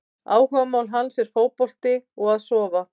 Áhugamál hans er fótbolti og að sofa!